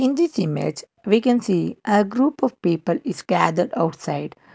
in this image we can see a group of people is gathered outside.